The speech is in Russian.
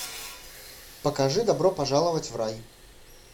покажи добро пожаловать в рай